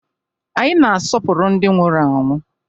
Anyị na-asọpụrụ ndị nwụrụ anwụ